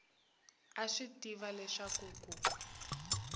a swi tiva leswaku ku